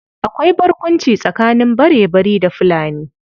Akwai barkwanci tsakanin Barebari da Fulani.